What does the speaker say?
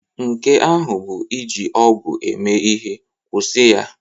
Nke ahụ bụ iji ọgwụ eme ihe. Kwụsị ya!